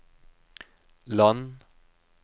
land